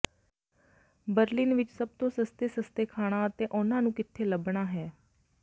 Berlin ਵਿਚ ਸਭ ਤੋਂ ਸਸਤੇ ਸਸਤੇ ਖਾਣਾ ਅਤੇ ਉਹਨਾਂ ਨੂੰ ਕਿੱਥੇ ਲੱਭਣਾ ਹੈ